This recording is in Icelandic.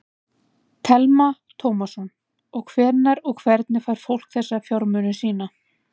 Telma Tómasson: Og hvenær og hvernig fær fólk þessa fjármuni sína?